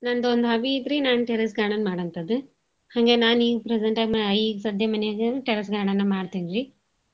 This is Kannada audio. ನನ್ದೊಂದ್ hobby ಐತ್ರಿ ನಾನ್ terrace garden ಮಾಡೋಂತದ್ದು. ಹಂಗೆ ನಾನ್ ಈಗ್ present time ಈಗ್ ಸದ್ಯ ಮನೇಗ terrace garden ಮಾಡ್ತೇನ್ರಿ.